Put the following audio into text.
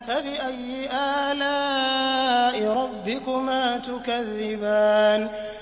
فَبِأَيِّ آلَاءِ رَبِّكُمَا تُكَذِّبَانِ